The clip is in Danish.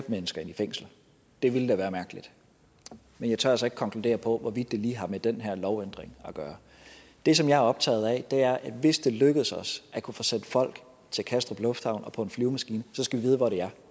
mennesker i fængsel det ville da være mærkeligt men jeg tør altså ikke konkludere på hvorvidt det lige har med den her lovændring at gøre det som jeg er optaget af er at hvis det skal lykkes os at kunne få sendt folk til kastrup lufthavn og på en flyvemaskine så skal vi vide hvor de er